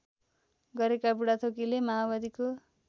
गरेका बुढाथोकीले माओवादीको